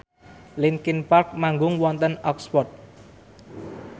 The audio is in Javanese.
linkin park manggung wonten Oxford